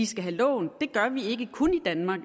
skal have lån det gør vi ikke kun i danmark